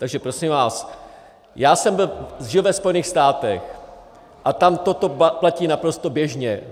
Takže prosím vás, já jsem žil ve Spojených státech a tam toto platí naprosto běžně.